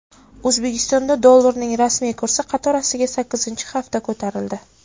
O‘zbekistonda dollarning rasmiy kursi qatorasiga sakkizinchi hafta ko‘tarildi.